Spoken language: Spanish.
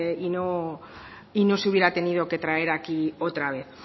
y no se hubiera tenido que traer hoy aquí otra vez